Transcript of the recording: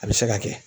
A bɛ se ka kɛ